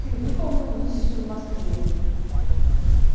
ты выполнил миссию в москве